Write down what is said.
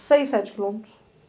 seis, sete quilômetros.